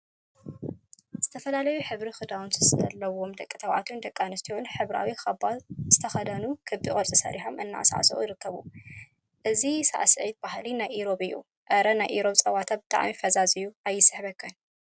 ዝተፈላለዩ ሕብሪ ክዳውንቲ ዘለዎም ደቂ ተባዕትዮን ደቂ አንስትዮን ሕብራዊ ካባ ዝተከደኑን ክቢ ቅርፂ ሰሪሖም እናሳዕስዑ ይርከቡ፡፡ እዚ ሳዕስዒት ባህሊ ናይ ኢሮብ እዩ፡፡ አረ! ናይ ኢሮብ ፀወታ ብጣዕሚ ፈዛዝ እዩ አይስሕበካን፡፡